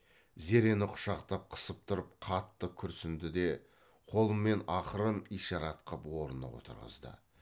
зерені құшақтап қысып тұрып қатты күрсіңді де қолымен ақырын ишарат қып орнына отырғызды